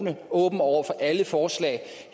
er åben over for alle forslag